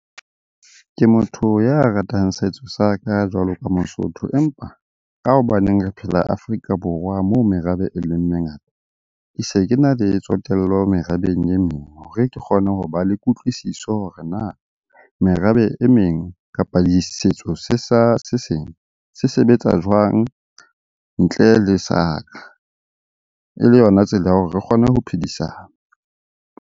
Ke motho ya ratang setso sa ka jwalo ka Mosotho, empa ka hobaneng re phela Afrika Borwa moo merabe e leng mengata. Ke se ke na le tsotello merabeng e meng hore ke kgone ho ba le kutlwisiso hore na merabe e meng, kapa setso se seng se sebetsa jwang ntle le sa ka? E le yona tsela ya hore re kgone ho phedisana.